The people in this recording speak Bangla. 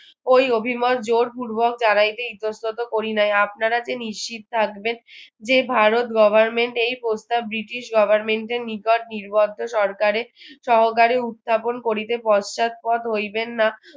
ওই অভিমত জোরপূর্বক ইতস্তত করি নাই আপনারা যে নিশ্চিত থাকবেন যে ভারত government এই প্রস্তাব ব্রিটিশ government এর নিকট নির্বোদ্ধ সরকারে সহকারে উত্থাপন করিতে পশ্চাদপদ হইবেন না